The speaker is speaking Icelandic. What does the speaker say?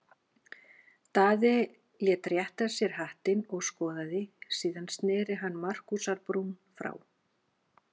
Daði lét rétta sér hattinn og skoðaði, síðan sneri hann Markúsar-Brún frá.